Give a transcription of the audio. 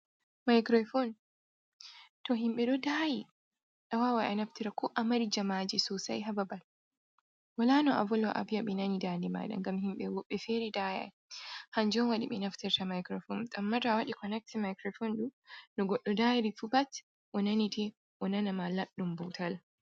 Microfone to himɓe ɗo daayi a waaway a naftira koo amari jamaaji soosai haa babal walaa no a vola avi'a ɓe nanai daande maaɗa, ngam himɓe feere daayi hannjum waɗi ɓe naftirta microfone, ammaa to waɗi connectin microfhone no goɗɗo daayorii bat o nanetee, uo nanama laɗɗun tal.